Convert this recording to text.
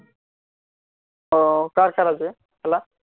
ও কার খেলা আছে খেলা